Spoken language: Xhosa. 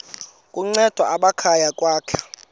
kunceda amakhaya ukwakha